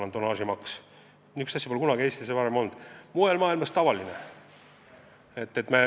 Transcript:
Niisugust asja pole kunagi varem Eestis olnud, mujal maailmas on see tavaline.